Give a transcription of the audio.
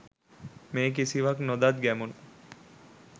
මේ කිසිවක් නොදත් ගැමුණු